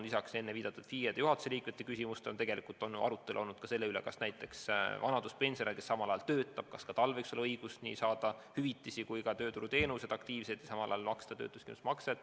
Lisaks enne viidatud FIE-de ja juhatuse liikmete küsimusele on tegelikult arutelu olnud sellegi üle, kas ka vanaduspensionäril, kes samal ajal töötab, võib olla õigus saada nii hüvitisi kui ka tööturuteenuseid.